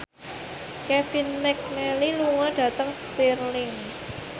Kevin McNally lunga dhateng Stirling